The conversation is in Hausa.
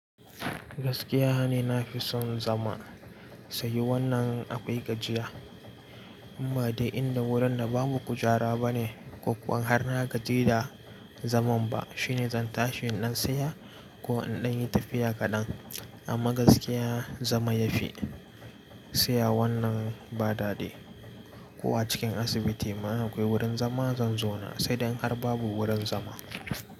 Gaskiya ne na fi son zama sayu wannan akwai gajiya, inba dai inda wurin da babu kujara bane, ko kuwa har na gaji da zaman ba, shine zan tashi in nan saya ko in ɗan yi tafiya kaɗan. Amma gaskiya zama ya fi, saya wannan ba dadi. Ko a cikin asibiti ma in akwai wurin zama zan zauna, sai dai in har babu wurin zama.